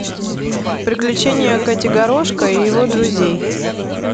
приключения котигорошко и его друзей